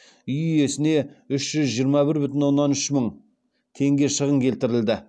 үй иесіне үш жүз жиырма бір бүтін оннан үш мың теңге шығын келтірілді